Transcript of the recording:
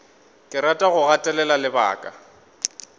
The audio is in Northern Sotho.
ke rata go gatelela lebaka